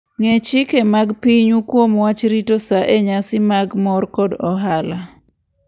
Ng'e chike mag pinyu kuom wach rito sa e nyasi mag mor kod ohala.